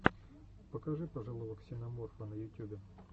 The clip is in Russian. покажи пожилого ксеноморфа на ютюбе